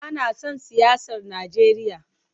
Bana son siyasar Najeriya.